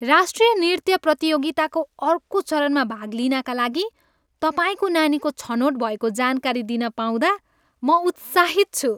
राष्ट्रिय नृत्य प्रतियोगिताको अर्को चरणमा भाग लिनाका लागि तपाईँको नानीको छनोट भएको जानकारी दिन पाउँदा म उत्साहित छु।